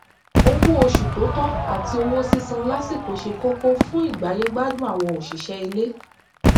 owó oṣù tó tọ àti owó sísan lásìkò ṣe kókó fún ìgbáyégbádùn àwọn òṣìṣẹ ilé